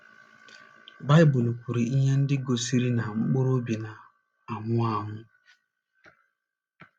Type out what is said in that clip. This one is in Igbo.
Baịbụl kwuru ihe ndị gosiri na mkpụrụ obi na - anwụ anwụ.